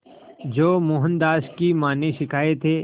जो मोहनदास की मां ने सिखाए थे